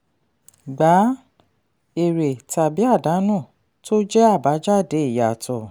gba èrè tàbí àdánù tó jẹ́ àbájáde ìyàtọ̀.